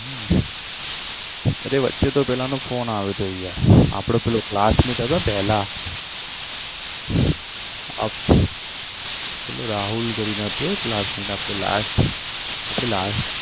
હમ અરે વચ્ચે તો પેલાનો phone આયો તો યાર આપડો પેલો classmate હતો ને પેલા પેલો રાહુલ કરીને હતો એક classmate આપણે last આપણે last